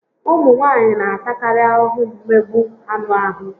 Ụmụ nwaanyị n'atakarị ahụhụ mmegbu anụ ahụ